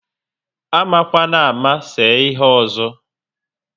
Amakwanama se ihe ọzọ!